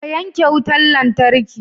Ka yanke wutar lantarki!